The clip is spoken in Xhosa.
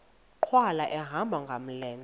nkqwala ehamba ngamlenze